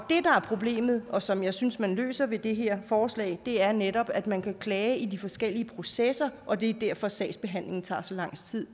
problemet og som jeg synes man løser med det her forslag er netop at man kan klage i de forskellige processer og det er derfor at sagsbehandlingen tager så lang tid